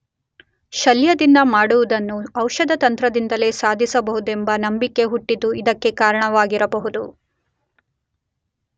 ಶಲ್ಯದಿಂದ ಮಾಡುವುದನ್ನು ಔಷಧತಂತ್ರದಿಂದಲೇ ಸಾಧಿಸಬಹುದೆಂಬ ನಂಬಿಕೆ ಹುಟ್ಟಿದ್ದು ಇದಕ್ಕೆ ಕಾರಣವಾಗಿರಬಹುದು.